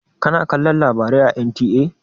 Kana kalon labarai a NTA?